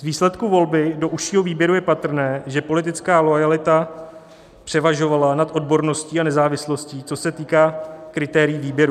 Z výsledku volby do užšího výběru je patrné, že politická loajalita převažovala nad odborností a nezávislostí, co se týká kritérií výběru.